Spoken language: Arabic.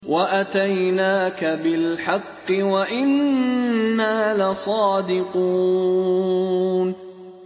وَأَتَيْنَاكَ بِالْحَقِّ وَإِنَّا لَصَادِقُونَ